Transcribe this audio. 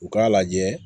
U k'a lajɛ